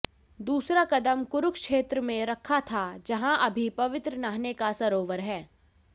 दूसरा कदम कुरुक्षेत्र में रखा था जहां अभी पवित्र नहाने का सरोवर है